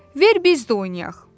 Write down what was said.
"Ver biz də oynayaq!"